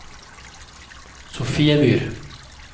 Sofiemyr